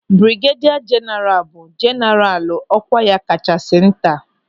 Brigedia jeenaralu bụ jeenaralu ọkwa ya kachasị nta.